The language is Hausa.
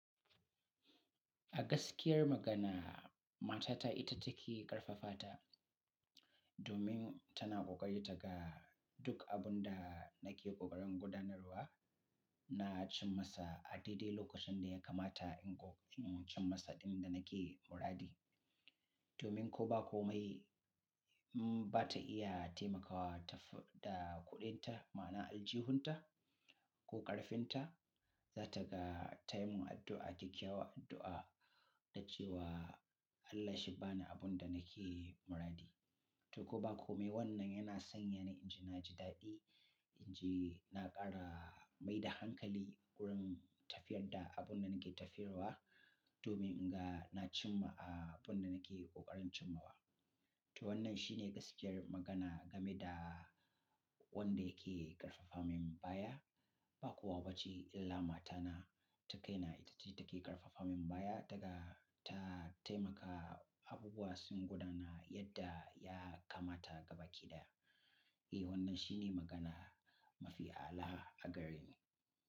A gaskiyar magana, matata ita take ƙarfafa ta domin tana ƙoƙari ta ga duk abun da nake ƙoƙarin gudanarwa, na cim masa a daidai lokacin da ya kamata in ƙoƙarin cim masa ɗin da nake muradi. Domin ko ba komai ba ta iya taimakawa ta da kuɗinta, ma'ana aljihunta ko ƙarfinta, za ta ga ta yi mun addu'a, kyakkyawan addu'a da cewa Allah shi bani abun da nake muradi. To ko ba komai wannan yana sanya ni in ji na ji daɗi, in ji na ƙara mai da hankali wurin tafiyar da abun da nake tafiyarwa domin in ga na cimma a abun da nake ƙoƙarin cimawa. To wannan shine gaskiyar magana game da wanda yake ƙarfafamin baya, ba kowa bace illa matana ta kai na ita ce take ƙarfafamin baya daga ta taimaka abubuwa sun gudana yadda ya kamata gaba ɗaya. Eh wannan shine magana mafi a, ala a gareni.